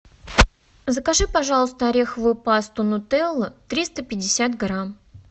закажи пожалуйста ореховую пасту нутелла триста пятьдесят грамм